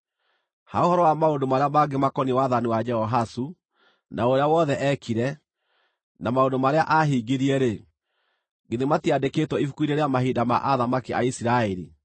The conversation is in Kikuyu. Ha ũhoro wa maũndũ marĩa mangĩ makoniĩ wathani wa Jehoahazu, na ũrĩa wothe eekire, na maũndũ marĩa aahingirie-rĩ, githĩ matiandĩkĩtwo ibuku-inĩ rĩa mahinda ma athamaki a Isiraeli?